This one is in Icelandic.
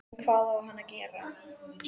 En hvað á hann að gera?